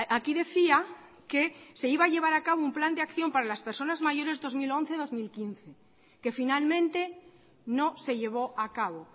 aquí decía que se iba a llevar a cabo un plan de acción para las personas mayores dos mil once dos mil quince que finalmente no se llevó a cabo